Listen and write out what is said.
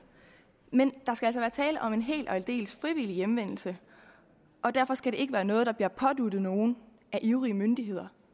men der skal altså være tale om en helt og aldeles frivillig hjemvendelse og derfor skal det ikke være noget der bliver påduttet nogen af ivrige myndigheder